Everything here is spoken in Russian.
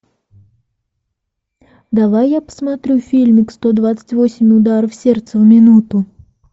давай я посмотрю фильмик сто двадцать восемь ударов сердца в минуту